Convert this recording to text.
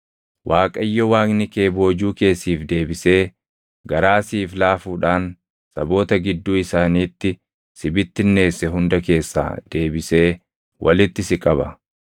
Waaqayyo Waaqni kee boojuu kee siif deebisee garaa siif laafuudhaan saboota gidduu isaaniitti si bittinneesse hunda keessaa deebisee walitti si qaba.